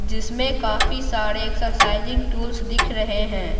जिसमें काफी सारे एक्सरसाइजिंग टूल्स दिख रहे हैं।